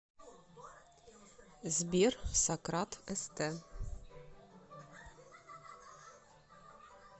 сбер сократ эстэ